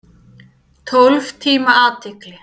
Tólf tíma athygli.